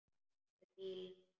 Með bílnum.